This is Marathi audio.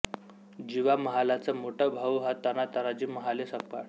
जिवा महालाचा मोठा भाऊ हा ताना तानाजी महाले संकपाळ